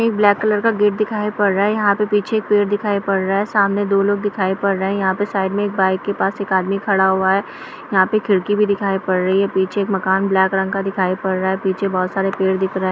एक black colour का gate दिखाई पड़ रहा है यहाँ पर पीछे एक पेड़ दिखाई पड़ रहा है सामने दो लोग दिखाई पड़ रहे है यहाँ पर साइड मे एक बाइक के पास एक आदमी खड़ा हुआ है यहाँ पे खिड़की भी दिखाई पड़ रही है पीछे एक मकान ब्लैक कलर का दिखाई पड़ रहा है पीछे बहुत सारे पेड़ दिख रहे-- ।